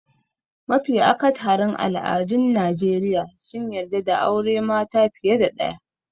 Mafi akatharin al'adun Najeriya sun yarda da aure mata fiye da ɗaya.